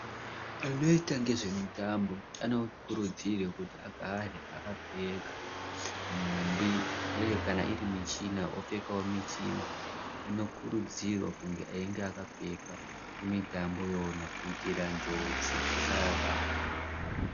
Anoita ngezvemutambo anokurudzirwe kuti agare akapfeka nhumbi uye kana irimichina apfekewo michina inokurudzirwa kunge yakapfekwa kumitambo yona kuitira njodzi dzisavabata.